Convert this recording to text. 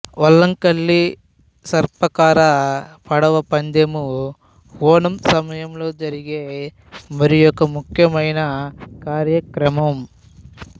వల్లంకలి సర్పాకార పడవ పందెము ఓణం సమయంలో జరిగే మరియొక ముఖ్యమైన కార్యక్రమం